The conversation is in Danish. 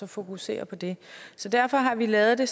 fokusere på den så derfor har vi lavet det